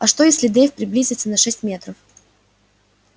а что если дейв приблизится на шесть метров